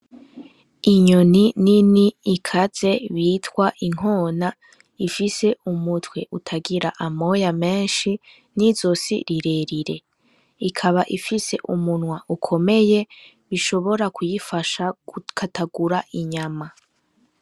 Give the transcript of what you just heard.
Inyoni nini ikaze bitwa inkona ifise umutwe utagira amoya menshi n'izosi rirerire. Ikaba ifise umunwa ukomeye bishobora kuyifasha gukatagura inyama.